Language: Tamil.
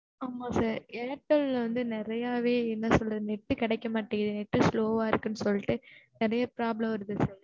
ஆமா sir airtel வந்து நிறையவே என்னசொல்ல net கிடைக்கமாட்டிக்கு net slow ஆ இருக்குன்னு சொல்லிட்டு நிறைய problem வருது sir